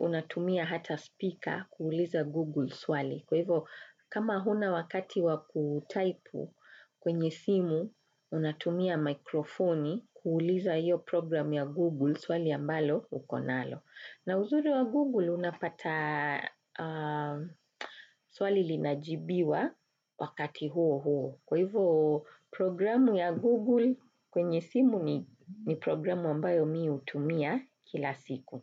Unatumia hata speaker kuuliza Google swali. Kwa hivyo, kama huna wakati wa kutaipu kwenye simu, unatumia mikrofoni kuuliza hiyo programu ya Google swali ambalo uko nalo. Na uzuri wa Google unapata swali linajibiwa wakati uo huo. Kwa hivyo, programu ya Google kwenye simu ni programu ambayo mimi hutumia kila siku.